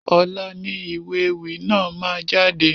Ọ̀la ni ìwé ewì náà máa jáde.